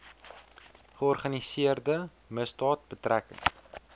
georganiseerde misdaad betrekking